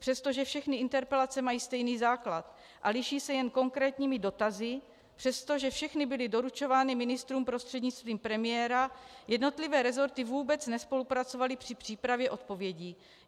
Přestože všechny interpelace mají stejný základ a liší se jen konkrétními dotazy, přestože všechny byly doručovány ministrům prostřednictvím premiéra, jednotlivé resorty vůbec nespolupracovaly při přípravě odpovědí.